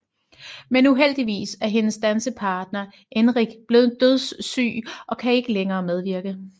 Men uheldigvis er hendes dansepartner Enric blevet dødssyg og kan ikke længere medvirke